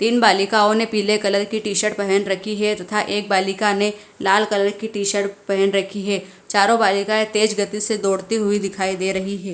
इन बालिकाओं ने पीले कलर की टी शर्ट पहन रखी है तथा एक बालिका ने लाल कलर की टी शर्ट पहन रखी है चारों बालिकाएं तेज गति से दौड़ती हुई दिखाई दे रही हैं।